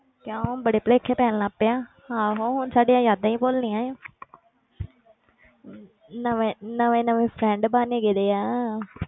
ਕਿਉਂ ਬੜੇ ਭੁਲੇਖੇ ਪੈਣ ਲੱਗ ਪਏ ਆ ਆਹੋ ਹੁਣ ਸਾਡੀਆਂ ਯਾਦਾਂ ਹੀ ਭੁੱਲਣੀਆਂ ਆ ਨਵੇਂ ਨਵੇਂ ਨਵੇਂ friend ਬਣ ਗਏ ਦੇ ਆ